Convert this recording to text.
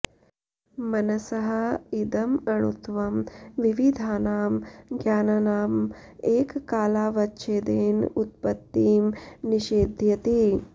मनसः इदम् अणुत्वं विविधानां ज्ञानानाम् एककालावच्छेदेन उत्पत्तिं निषेधयति